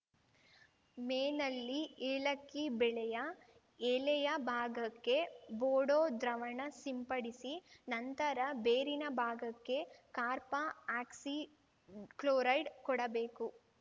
ಮೇನಲ್ಲಿ ಏಲಕ್ಕಿ ಬೆಳೆಯ ಎಲೆಯ ಭಾಗಕ್ಕೆ ಬೋಡೋ ದ್ರಾವಣ ಸಿಂಪಡಿಸಿ ನಂತರ ಬೇರಿನ ಭಾಗಕ್ಕೆ ಕಾರ್ಪಾ ಆಕ್ಸಿ ಕ್ಲೋರೈಡ್‌ ಕೊಡಬೇಕು